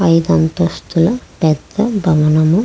ఐదంతస్తుల పెద్ద భవనం --